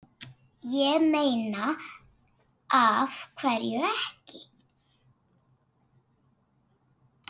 Ég meina af hverju ekki?